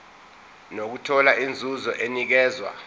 nokuthola inzuzo enikezwa